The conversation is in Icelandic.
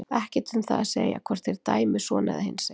Ekkert um það að segja hvort þeir dæmi svona eða hinsegin.